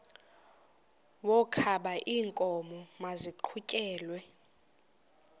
wokaba iinkomo maziqhutyelwe